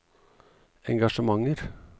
engasjementer